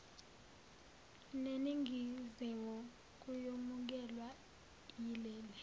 neningizimu kuyomukelwa yileli